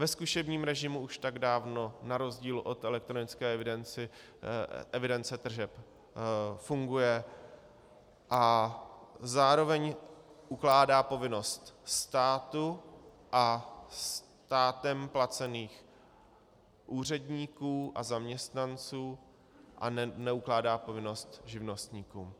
Ve zkušebním režimu už tak dávno na rozdíl od elektronické evidence tržeb funguje a zároveň ukládá povinnost státu a státem placeným úředníkům a zaměstnancům a neukládá povinnost živnostníkům.